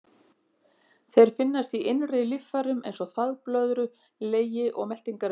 Þeir finnast í innri líffærum, eins og þvagblöðru, legi og meltingarvegi, og stjórna hreyfingum þeirra.